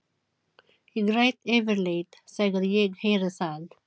Ég græt yfirleitt þegar ég heyri það.